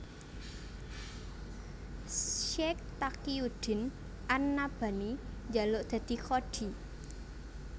Syaikh Taqiyuddin an Nabhani njaluk dadi qadhi